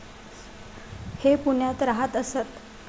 हे पुण्यात राहत असत